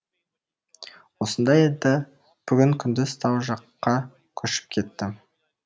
осында еді бүгін күндіз тау жаққа көшіп кетті